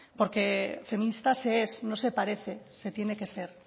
porque feministas no es parecerse no se parece se tiene que ser